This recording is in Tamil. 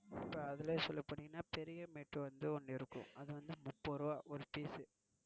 இப்போ அதுலயும் சொல்ல போனீங்கன்னா பெரிய mat வந்து ஒன்னு இருக்கும். அது வந்து முப்பது ரூபாய் ஒரு piece